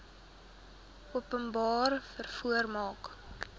openbare vervoer mark